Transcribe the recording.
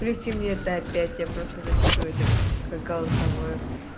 включи мне это опять я просто запишу это как голосовое